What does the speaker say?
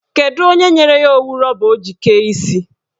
Kedụ onye nyere ya owu rọba ọ ji kee isi?